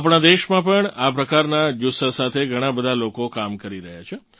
આપણાં દેશમાં પણ આ પ્રકારનાં જુસ્સા સાથે ઘણાં બધાં લોકો કામ કરી રહ્યાં છે